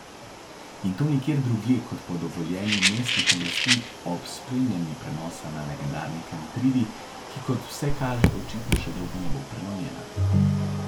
In to nikjer drugje, kot po dovoljenju mestnih oblasti ob spremljanju prenosa na legendarni Kantridi, ki, kot vse kaže, očitno še dolgo ne bo prenovljena.